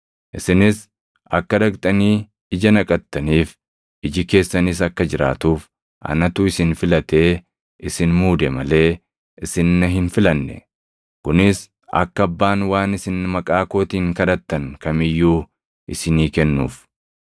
Isinis akka dhaqxanii ija naqattaniif, iji keessanis akka jiraatuuf anatu isin filatee isin muude malee isin na hin filanne. Kunis akka Abbaan waan isin maqaa kootiin kadhattan kam iyyuu isinii kennuuf.